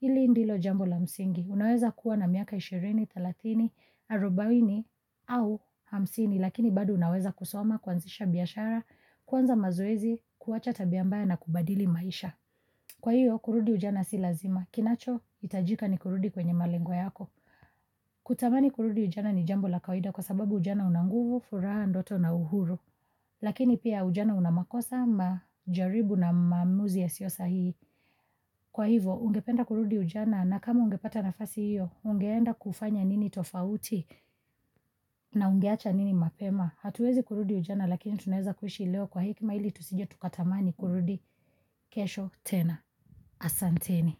hili ndilo jambo la msingi. Unaweza kuwa na miaka ishirini, thelathini, arubaini au hamsini, lakini bado unaweza kusoma, kuanzisha biashara, kuanza mazoezi, kuwacha tabiambaya na kubadili maisha. Kwa hiyo, kurudi ujana si lazima. Kinacho, hitajika ni kurudi kwenye malengo yako. Kutamani kurudi ujana ni jambo la kawida kwa sababu ujana unanguvu, furaha, ndoto na uhuru. Lakini pia ujana unamakosa, majaribu na maamuzi ya siosa hihi. Kwa hivo, ungependa kurudi ujana na kama ungepata nafasi hiyo, ungeenda kufanya nini tofauti na ungeacha nini mapema. Hatuwezi kurudi ujana lakini tunaweza kuishi leo kwa hekima ili tusije tukatamani kurudi kesho tena. Asanteni.